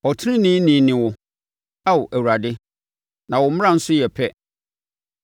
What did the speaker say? Ɔteneneeni ne wo, Ao Awurade, na wo mmara nso yɛ pɛ.